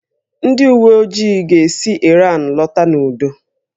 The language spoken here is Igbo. Ndị uwe ojii ga-esi Ịran lọta n'udo